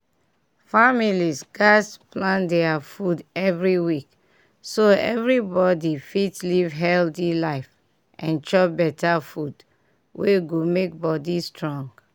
families gatz dey plan their food every week so everybody go fit live healthy life and chop better food wey go make body strong.